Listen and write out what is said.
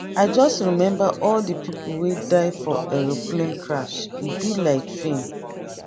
i just remember all the people wey die for aeroplane crash e be like film.